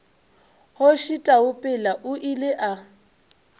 kgoši taupela o ile a